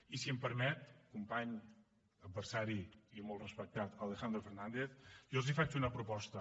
i si em permet company adversari i molt respectat alejandro fernández jo els faig una proposta